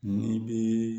N'i bɛ